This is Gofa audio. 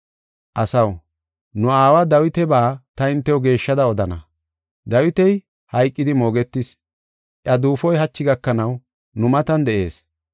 “Asaw, nu aawa Dawitaba ta hintew geeshshada odana. Dawiti hayqidi moogetis; iya duufoy hachi gakanaw nu matan de7ees.